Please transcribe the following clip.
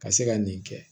Ka se ka nin kɛ